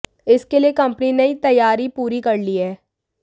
इसके लिए कंपनी ने तैयारी पूरी कर ली है